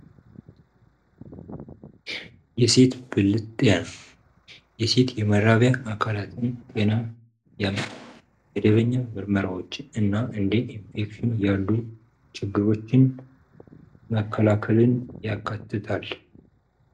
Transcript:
የሴት ብልት ጤና የሴት የመራቢያ አካላትን ጤና የመደበኛ ምርመራዎችን እና እንዴ ኢንፌክሽን ያሉ ችግሮችን መከላከልን ያካትታል።